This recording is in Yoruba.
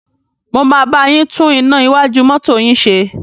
Mo máa bá yín tún iná iwájú mọ́tọ́ yín ṣe.